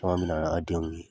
mi na n'a denw ye.